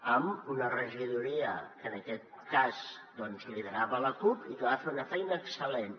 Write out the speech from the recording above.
amb una regidoria que en aquest cas doncs liderava la cup i que va fer una feina excellent